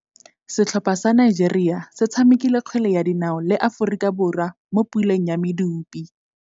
Setlhopha sa Nigeria se tshamekile kgwele ya dinaô le Aforika Borwa mo puleng ya medupe.